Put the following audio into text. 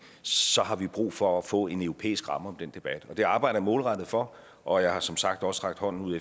så har vi brug for at få en europæisk ramme om den debat det arbejder jeg målrettet for og jeg har som sagt også rakt hånden ud